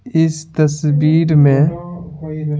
इस तस्वीर में--